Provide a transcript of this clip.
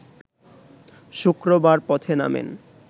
শুক্রবার পথে নামেন